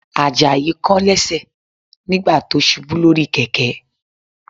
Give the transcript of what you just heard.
Àjàyí kán lẹ́sẹ̀ nígbà tó ṣubú lórí kẹ̀kẹ́